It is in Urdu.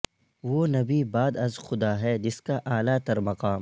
وہ نبی بعد ازخدا ہے جس کا اعلی ترمقام